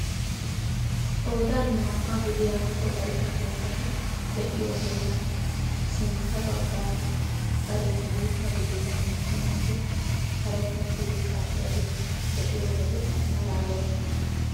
Qoodan naa"aa gidiyaa wolaytta keettati de'iyoo heeran sinttan baggaara bariyaan guutta gidida naa"u naati karen uttidi ka"iyaageta be'iyoo wode malaalosona.